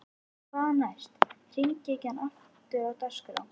Hvað næst: Hringekjan aftur á dagskrá?